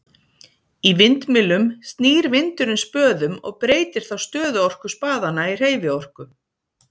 Í vindmyllum snýr vindurinn spöðum og breytir þá stöðuorku spaðanna í hreyfiorku.